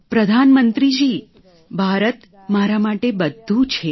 પ્રધાનમંત્રીજી ભારત મારા માટે બધું છે